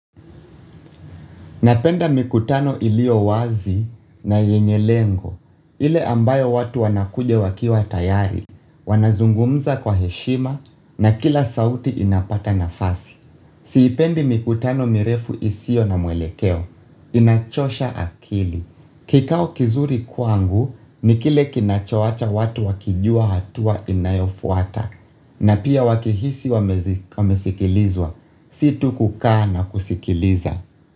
Napenda mikutano iliyowazi na yenye lengo, ile ambayo watu wanakuja wakiwa tayari, wanazungumza kwa heshima na kila sauti inapata nafasi. Siipendi mikutano mirefu isiyo na mwelekeo, inachosha akili. Kikao kizuri kwangu, ni kile kinachowacha watu wakijua hatua inayofuata, na pia wakihisi wamesikilizwa, si tu kukaa na kusikiliza.